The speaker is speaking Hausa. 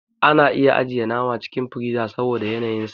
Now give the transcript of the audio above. Ana ajiyan nama cikin friza saboda yanayin su.